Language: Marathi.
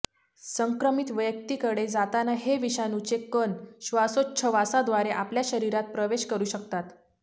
संक्रमित व्यक्तीकडे जाताना हे विषाणूचे कण श्वासोच्छवासाद्वारे आपल्या शरीरात प्रवेश करू शकतात